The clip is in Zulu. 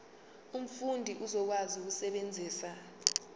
umfundi uzokwazi ukusebenzisa